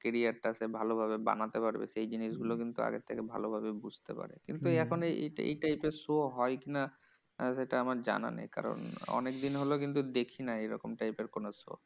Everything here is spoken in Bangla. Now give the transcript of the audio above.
Career টা সে ভালোভাবে বানাতে পারবে সেই জিনিসগুলো কিন্তু আগের থেকে ভালোভাবে বুঝতে পারে। কিন্তু এখন এই এই type এর show হয় কি না? সেটা আমার জানা নেই। কারণ অনেকদিন হলো কিন্তু দেখি না এরকম type এর কোনো show.